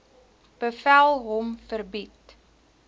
bevel hom verbied